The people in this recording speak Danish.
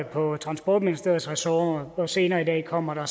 for transportministeriets ressort og senere i dag kommer der